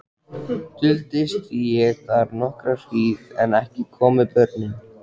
Duldist ég þar nokkra hríð en ekki komu börnin.